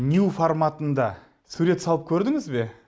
нью форматында сурет салып көрдіңіз бе